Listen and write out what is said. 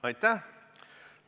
Aitäh!